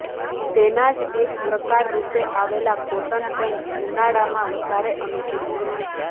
તેના જ એક પ્રકાર રૂપે આવેલા કોટન પેન્ટ ઉનાળામાં વધારે અનુકૂળ છે